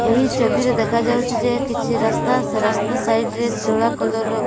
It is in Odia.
ଏହି ଛବିରେ ଦେଖାଯାଉଛି ଯେ କିଛି ରାସ୍ତା ସେ ରାସ୍ତା ସାଇଜ ରେ ଧଳା କଲର ର --